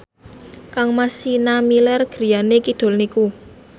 kangmas Sienna Miller griyane kidul niku